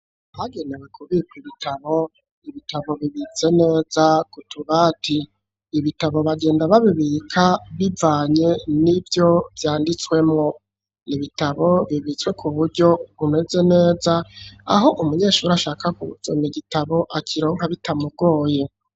Bagenewe kubika ibitabo, ibitabo bibize neza kutubati, ibitabo bagenda babibika bivanye ni vyo vyanditswemo, ibitabo bibitswe ku buryo umeze neza aho umunyeshuri ashaka kuza ma gitabo akiraka bitamugoye.